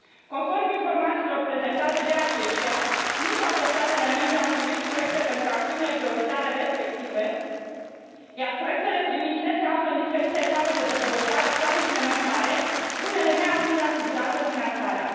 Conform informațiilor prezentate de aceștia, nu toate statele membre au trimis proiecte pentru acțiunile prioritare respective, iar proiectele trimise se află în diferite etape de dezvoltare sau implementare, unele neavând asigurată finanțarea.